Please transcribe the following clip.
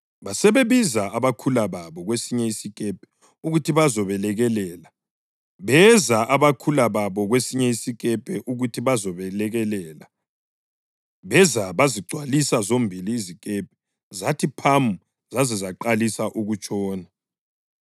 Basebebiza abakhula babo kwesinye isikepe ukuthi bazobelekelela. Beza abakhula babo kwesinye isikepe ukuthi bazobelekelela. Beza bazigcwalisa zombili izikepe zathi phamu zaze zaqalisa ukutshona.